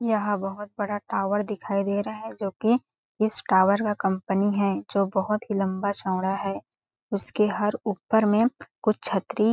यहाँ बहोत बड़ा टावर दिखाई दे रहा है जो की इस टावर का कंपनी है जो बहोत ही लंबा चौड़ा है हसके हर ऊपर में कुछ छतरी--